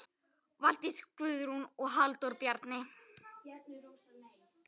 Valdís Guðrún og Halldór Bjarni.